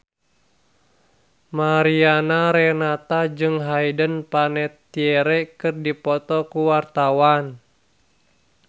Mariana Renata jeung Hayden Panettiere keur dipoto ku wartawan